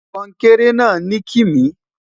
kònkere na nikimi